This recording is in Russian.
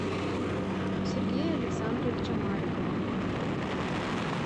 сергея александровича маликова